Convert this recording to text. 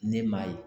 Ne m'a ye